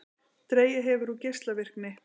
Dregið hefur úr geislavirkni